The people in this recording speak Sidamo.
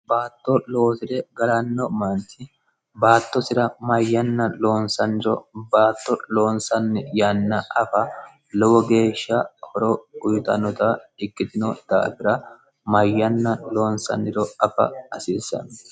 baatto loosire galanno maarti baattosira mayyanna loonsanniro baatto loonsanni yanna afa lowo geeshsha horo guyitannota ikkitino daafira mayyanna loonsanniro afa asiissanno